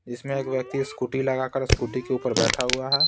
जिसमें एक व्यक्ति स्कूटी लगाकरस्कूटी के ऊपर बैठा हुआ है।